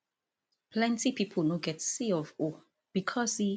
plenti pipo no get c of o becos e